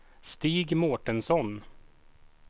Stig Mårtensson